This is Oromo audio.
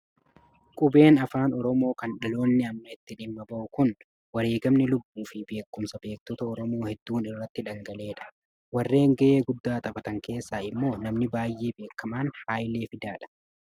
Qubeen afaan Oromoo kan dhaloonni amma itti dhimma ba'u kun, kan wareegamni lubbuu fi beekumsi beektota Oromoo hedduun irratti dhagala'edha. Warreen ga'ee guddaa taphatan keessaa immoo namni baay'ee beekamaan Hayilee Fidaadha.